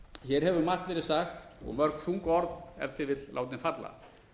hér hefur margt verið sagt og mörg þung orð ef til vill látin falla